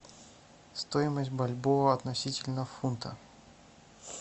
стоимость бальбоа относительно фунта